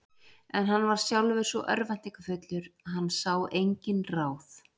En hann var sjálfur svo örvæntingarfullur að hann sá engin ráð.